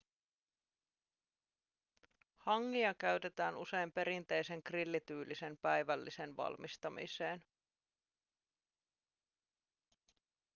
hangia käytetään usein perinteisen grillityylisen päivällisen valmistamiseen